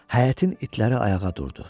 Həyətin itləri ayağa durdu.